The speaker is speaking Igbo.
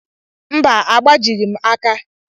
Mba, agbajighị m aka.